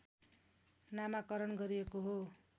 नामाकरण गरिएको हो